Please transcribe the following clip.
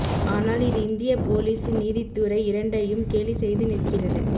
ஆனால் இது இந்திய போலீசு நீதித்துறை இரண்டையும் கேலி செய்து நிற்கிறது